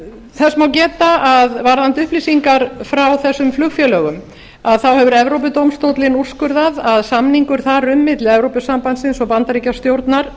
þess má geta varðandi upplýsingar frá þessum flugfélögum þá hefur evrópudómstóllinn úrskurðað að samningur þar um milli evrópusambandsins og bandaríkjastjórnar